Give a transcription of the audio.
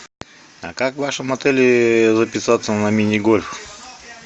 а как в вашем отеле записаться на мини гольф